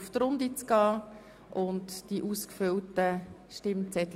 Zuerst behandeln wir die Wahlen in die Organe des Grossen Rats.